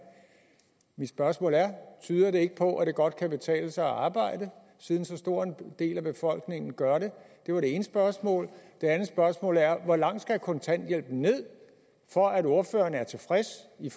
mit spørgsmål er tyder det ikke på at det godt kan betale sig at arbejde siden så stor en del af befolkningen gør det det var det ene spørgsmål det andet spørgsmål er hvor langt skal kontanthjælpen ned for at ordføreren er tilfreds i